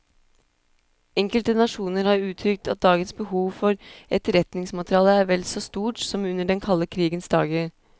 Enkelte nasjoner har uttrykt at dagens behov for etterretningsmateriale er vel så stort som under den kalde krigens dager.